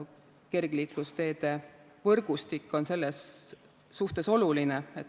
Kergliiklusteede võrgustik on selles suhtes oluline.